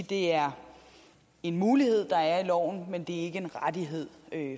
det er en mulighed der er i loven men det er ikke en rettighed